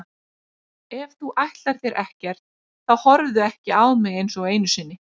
Ef þú ætlar þér ekkert þá horfðu ekki á mig einsog einu sinni.